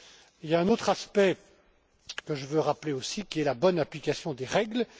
Il y a un autre aspect que je veux rappeler c'est la bonne application des règles.